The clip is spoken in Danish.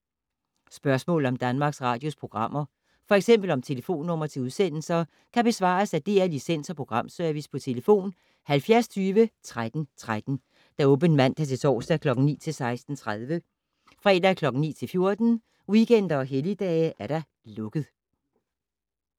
Spørgsmål om Danmarks Radios programmer, f.eks. om telefonnumre til udsendelser, kan besvares af DR Licens- og Programservice: tlf. 70 20 13 13, åbent mandag-torsdag 9.00-16.30, fredag 9.00-14.00, weekender og helligdage: lukket.